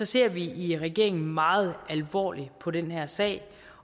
ser vi i regeringen meget alvorligt på den her sag